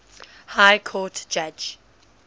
high court judge